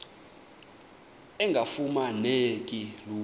engafuma neki lula